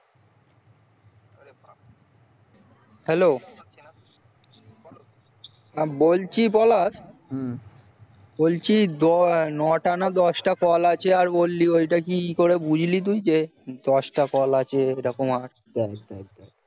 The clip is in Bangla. hello বলছি পলাশ হুম বলছি নটা না দশটা call আছে ওটা কি করে বুঝলি তুই যে দশটা call আছে এরকম